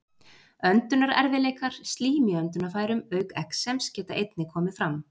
Öndunarerfiðleikar, slím í öndunarfærum auk exems geta einnig komið fram.